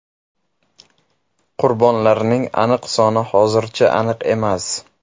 Qurbonlarning aniq soni hozircha aniq emas.